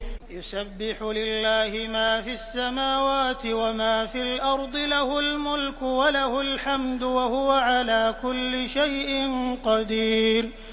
يُسَبِّحُ لِلَّهِ مَا فِي السَّمَاوَاتِ وَمَا فِي الْأَرْضِ ۖ لَهُ الْمُلْكُ وَلَهُ الْحَمْدُ ۖ وَهُوَ عَلَىٰ كُلِّ شَيْءٍ قَدِيرٌ